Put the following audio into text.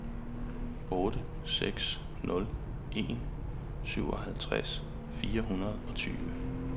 otte seks nul en syvoghalvtreds fire hundrede og tyve